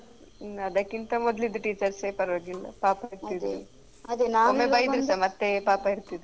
ಹ್ಮ್ ಅದಕ್ಕಿಂತ ಮೊದ್ಲಿದು teachers ಸೆ ಪರವಾಗಿಲ್ಲ ಪಾಪ ಇರ್ತಿದ್ರು